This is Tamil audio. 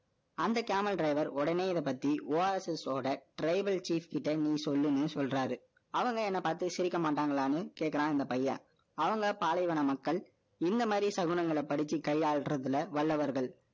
அந்த Caravan driver, உடனே இதைப்பத்தி, Oasis ஓட, tribal chief கிட்ட, நீ சொல்லுன்னு, சொல்றாரு. அவங்க, என்னை பார்த்து, சிரிக்க மாட்டாங்களான்னு, கேட்கிறான், இந்த பையன். அவங்க, பாலைவன மக்கள். இந்த மாரி, சகுனங்களை படிச்சு, கையாளுறதுல, வல்லவர்கள்